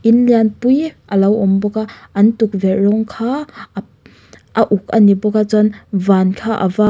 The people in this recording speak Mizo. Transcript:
in lian pui a lo awm bawk a an tukverh rawng kha ap a uk a ni bawk a chuan van kha a var--